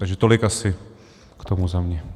Takže tolik asi k tomu za mě.